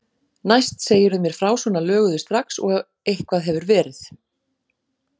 Næst segirðu mér frá svona löguðu strax og eitthvað hefur verið.